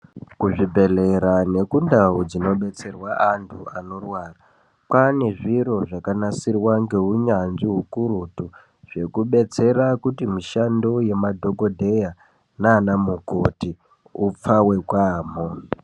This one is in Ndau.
Kuzvibhedhlera nekundau dzinobetserwa antu anorwara kwaane zviro zvakanasirwa ngeunyanzvi ukurutu zvekubetsera kuti mishando yemadhokodheya nana mukoti upfave kwaamho.